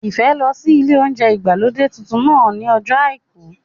Ìfẹ́ lọ sí ilé óúnjẹ ìgbàlódé tuntun náà ní ọjọ́ àìkú